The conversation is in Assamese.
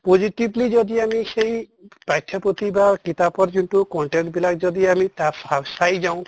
positively যদি আমি সেই পাঠ্য় পুথি বা কিতাপৰ যোনটো content বিলাক যদি আমি তাৰ চাই যাওঁ